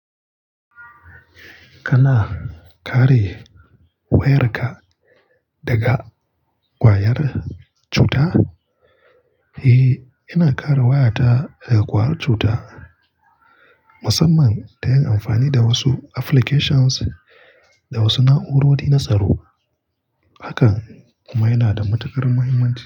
Kana kare wayarka daga ƙwayar cuta? Eh, ina kare wayata daga ƙwayar cuta, musamman da yin amfani da wasu applications da wasu na'urori na tsaro. Hakan kuma yana da matukar muhimmanci.